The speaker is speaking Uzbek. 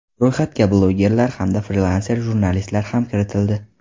Ro‘yxatga blogerlar hamda frilanser jurnalistlar ham kiritildi.